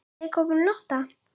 Leikhópurinn Lotta?